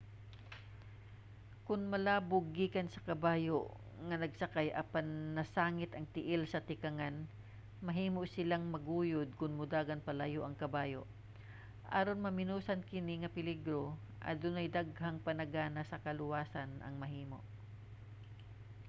kon malabog gikan sa kabayo ang nagsakay apan nasangit ang tiil sa tikangan mahimo silang maguyod kon modagan palayo ang kabayo. aron maminusan kini nga peligro adunay daghang panagana sa kaluwasan ang mahimo